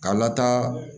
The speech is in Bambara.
K'a lataa